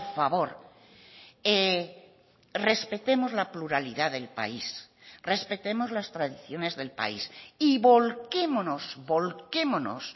favor respetemos la pluralidad del país respetemos las tradiciones del país y volquémonos volquémonos